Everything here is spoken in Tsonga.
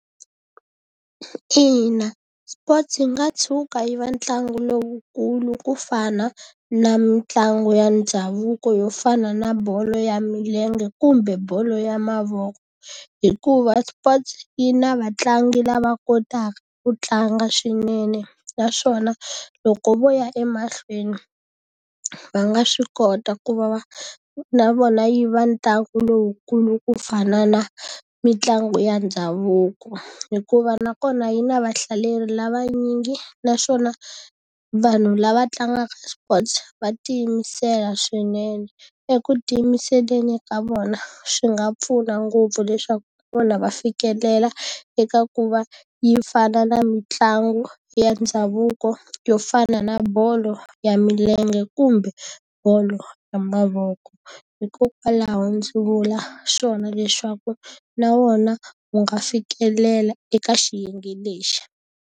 Ina, sports yi nga tshuka yi ve ntlangu lowukulu ku fana na mitlangu ya ndhavuko yo fana na bolo ya milenge, kumbe bolo ya mavoko. Hikuva sports yi na vatlangi lava kotaka ku tlanga swinene, naswona loko vo ya emahlweni va nga swi kota ku va va na vona yi va ntlangu lowukulu ku fana na mitlangu ya ndhavuko. Hikuva nakona yi na vahlaleri lavanyingi naswona vanhu lava tlangaka sports va tiyimisela swinene. Eku tiyimiseleni ka vona, swi nga pfuna ngopfu leswaku na vona va fikelela eka ku va yi fana na mitlangu ya ndhavuko yo fana na bolo ya milenge kumbe, bolo ya mavoko. Hikokwalaho ndzi vula swona leswaku na wona wu nga fikelela eka xiyenge lexi.